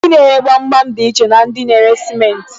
Ndi na-ere gbamgbam dị iche na ndị na-ere simenti.